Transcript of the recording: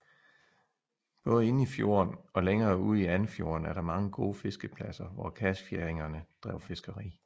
Både inde i fjorden og længere ude i Andfjorden er der mange gode fiskepladser hvor kasfjæringerne drev fiskeri